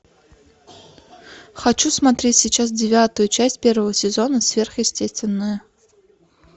хочу смотреть сейчас девятую часть первого сезона сверхъестественное